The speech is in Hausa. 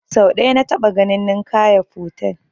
Sau ɗaya na taɓa ganin Ninkaya fotel